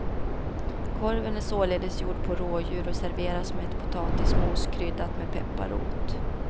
Korven är således gjord på rådjur och serveras med ett potatismos kryddat med pepparrot.